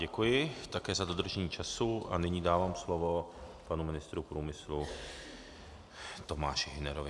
Děkuji také za dodržení času a nyní dávám slovo panu ministru průmyslu Tomáši Hünerovi.